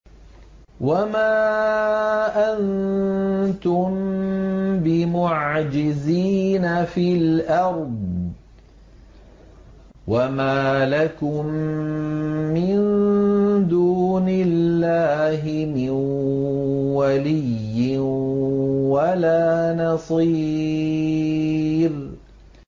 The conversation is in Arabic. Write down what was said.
وَمَا أَنتُم بِمُعْجِزِينَ فِي الْأَرْضِ ۖ وَمَا لَكُم مِّن دُونِ اللَّهِ مِن وَلِيٍّ وَلَا نَصِيرٍ